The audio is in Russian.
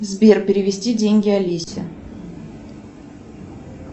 сбер перевести деньги алисе